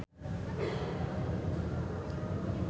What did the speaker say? Cathy Sharon olohok ningali David Archuletta keur diwawancara